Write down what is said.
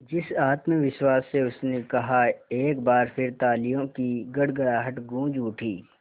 जिस आत्मविश्वास से उसने कहा एक बार फिर तालियों की गड़गड़ाहट गूंज उठी